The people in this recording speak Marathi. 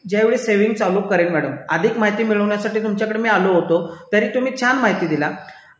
ज्या वेळेस मी सेविंग चालू करेल मॅडम अधिक माहिती मिळवण्यासाठी मी तुमच्याकडे आलो होतो ते तुम्ही छान माहिती दिली